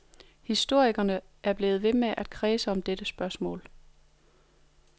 Historikerne er blevet ved med at kredse om dette spørgsmål.